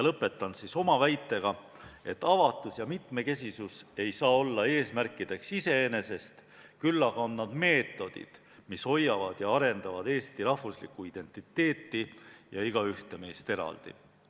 " Lõpetan ma aga oma väitega, et avatus ja mitmekesisus ei saa olla eesmärgid iseenesest, küll aga on need meetodid, mis hoiavad ja arendavad eesti rahvuslikku identiteeti ja igaühte meist eraldi.